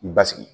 Basigi